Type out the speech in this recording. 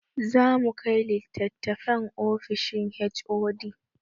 Zamu kai litatafen ofishin HOD